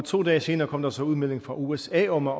to dage senere kom der så udmelding fra usa om at